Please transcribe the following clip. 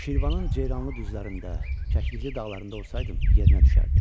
Şirvanın ceyranlı düzlərində, kəklikli dağlarında olsaydım yerinə düşərdi.